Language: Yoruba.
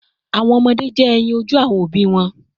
Awọn ọmọde jẹ eyin oju awọn obi wọn